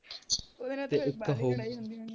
ਉਹਦੇ ਨਾਲ ਤੇ ਫੇਰ ਵਾਹਲੀ ਲੜਾਈ ਹੁੰਦੀ ਹੋਣੀ ਹੈ